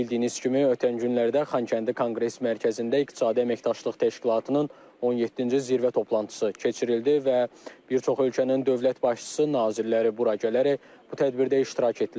Bildiyiniz kimi, ötən günlərdə Xankəndi Konqres Mərkəzində İqtisadi Əməkdaşlıq Təşkilatının 17-ci zirvə toplantısı keçirildi və bir çox ölkənin dövlət başçısı nazirləri bura gələrək bu tədbirdə iştirak etdilər.